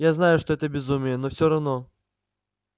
я знаю что это безумие но все равно